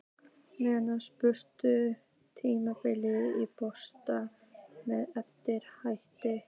Menn spurðust almæltra tíðinda í borginni með eftirfarandi hætti